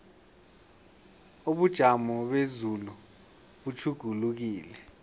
ubujamo bezulu butjhugulukile